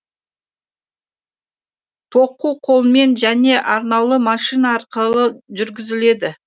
тоқу қолмен және арнаулы машина арқылы жүргізіледі